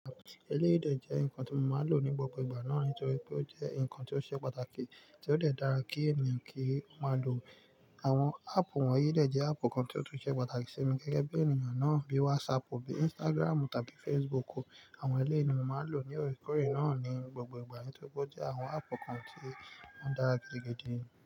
Eleyìí de jẹ́ nǹkan tí mo máa lò ní gbogbo ìgbà náà nítorí pé ó jẹ́ nǹkan tí ó ṣe pàtàkì tí ó de dára kí ènìyàn kí ó máa lò. Àwọn app wonyii de jẹ́ app kan tí ó tún ṣe pàtàkì sí mi gẹ́gẹ́ bí ènìyàn náà, bíi WhatsApp, bíi Instagram tàbí Facebook. Àwọn eleyii ni mo máa lò ní oore koore náà ní gbogbo ìgbà nítorí pé ó jẹ́ àwọn áàpù kan tí won dára gidi gidi.